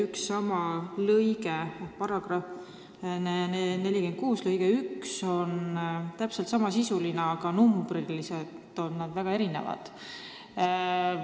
Üks lõige –§ 46 lõige 1 – on täpselt sama sisuga, ainult arvud on erinevad.